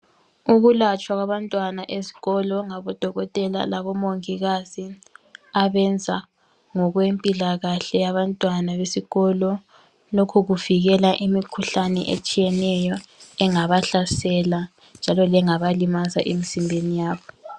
Ukulatshwa kwabantwana esikolo ngabodokotela labomongikazi abenza ngokwempilakahle yabantwana besikolo. Lokhu kuvikela imikhuhlane etshiyeneyo engabahlasela njalo lengabalimaza emzimbeni yabo.